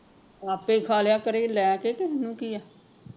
ਆਪੇ ਖਾ ਲਿਆ ਕਰੇ ਤੇ ਲੈਕੇ ਤੇ ਓਹਨੂੰ ਕਿ ਆ